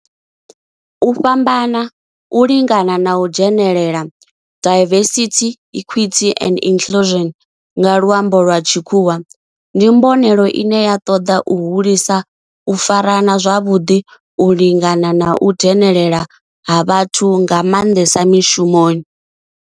U fhambana, u lingana na u dzhenelela diversity, equity and inclusion nga lwambo lwa tshikhuwa ndi mbonelelo ine ya toda u hulisa u farana zwavhudi, u lingana na u dzhenelela ha vhathu nga manḓesa mishumoni.